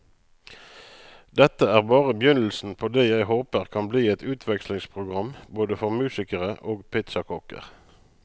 Dette er bare begynnelsen på det jeg håper kan bli et utvekslingsprogram både for musikere og pizzakokker.